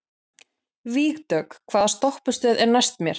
Vígdögg, hvaða stoppistöð er næst mér?